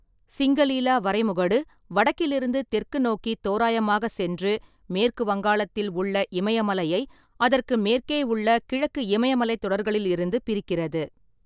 சிங்கலீலா வரைமுகடு வடக்கிலிருந்து தெற்கு நோக்கித் தோராயமாகச் சென்று, மேற்கு வங்காளத்தில் உள்ள இமயமலையை அதற்கு மேற்கே உள்ள கிழக்கு இமயமலைத் தொடர்களிலிருந்து பிரிக்கிறது.